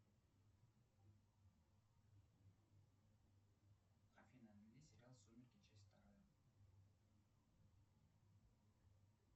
афина найди сериал сумерки часть вторая